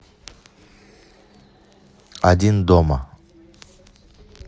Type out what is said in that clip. один дома